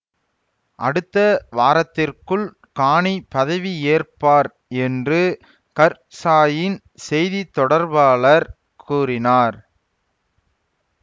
அடுத்த வாரத்திற்குள் கானி பதவியேற்பார் என்று கர்சாயின் செய்திதொடர்பாளர் கூறினார்